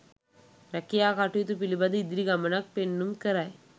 රැකියා කටයුතු පිළිබඳ ඉදිරි ගමනක් පෙන්නුම් කරයි.